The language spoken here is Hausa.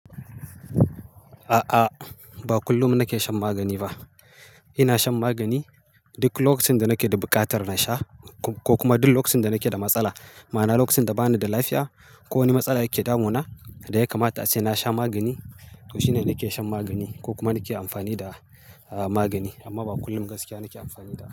A'a, ba kullum nake shan magani ba. Ina shan magani duk lokacin da nake da buƙatar na sha ko kuma duk lokacin da nake da matsala. Ma'ana lokacin da bani da lafiya ko wani matsala yake damuna da ya kamata a ce na sha magani. To shine nake shan magani ko kuma nake amfani da magani amma ba kullum gaskiya nake amfani da.